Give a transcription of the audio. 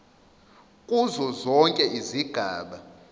kuzo zonke izigaba